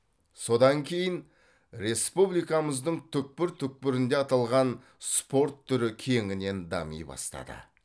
содан кейін республикамыздың түкпір түкпірінде аталған спорт түрі кеңінен дами бастады